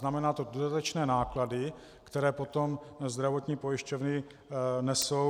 Znamená to dodatečné náklady, které potom zdravotní pojišťovny nesou.